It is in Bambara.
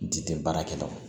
N ti baara kɛ tɔ